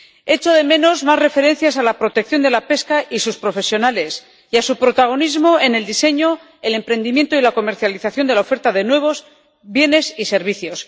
Echo de menos más referencias a la protección de la pesca y sus profesionales y a su protagonismo en el diseño, el emprendimiento y la comercialización de la oferta de nuevos bienes y servicios.